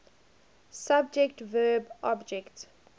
subject verb object